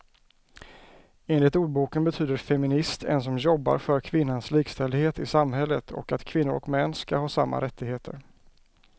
Enligt ordboken betyder feminist en som jobbar för kvinnans likställdhet i samhället och att kvinnor och män ska ha samma rättigheter.